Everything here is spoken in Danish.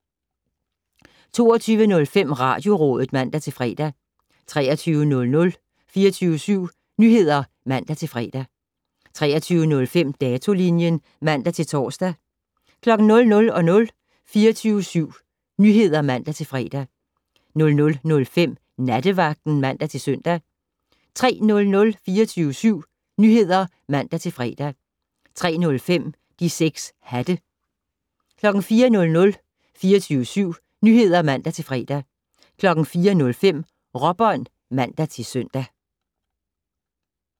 22:05: Radiorådet (man-fre) 23:00: 24syv Nyheder (man-fre) 23:05: Datolinjen (man-tor) 00:00: 24syv Nyheder (man-fre) 00:05: Nattevagten (man-søn) 03:00: 24syv Nyheder (man-fre) 03:05: De 6 Hatte 04:00: 24syv Nyheder (man-fre) 04:05: Råbånd (man-søn)